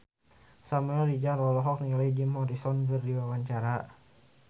Samuel Rizal olohok ningali Jim Morrison keur diwawancara